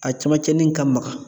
A camancɛnin ka maga.